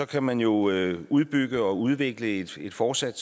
kan man jo udbygge og udvikle et fortsat